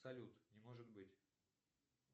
салют не может быть